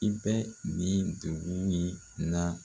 I bɛ nin dugu min na